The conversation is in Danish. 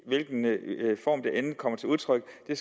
end kommer til udtryk er